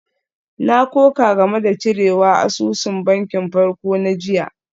Na koka game da cirewa asusun bankin farko na jiya.